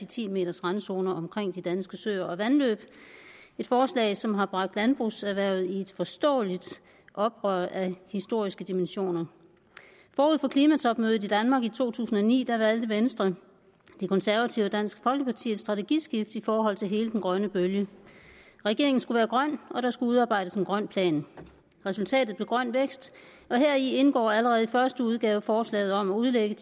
ti meters randzoner omkring de danske søer og vandløb et forslag som har bragt landbrugserhvervet i et forståeligt oprør af historiske dimensioner forud for klimatopmødet i danmark i to tusind og ni valgte venstre de konservative og dansk folkeparti et strategiskift i forhold til hele den grønne bølge regeringen skulle være grøn og der skulle udarbejdes en grøn plan resultatet blev grøn vækst og heri indgår allerede i første udgave forslaget om at udlægge